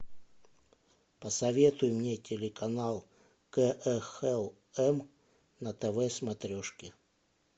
посоветуй мне телеканал кхлм на тв смотрешке